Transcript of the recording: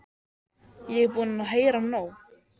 Ég er búin að heyra nóg!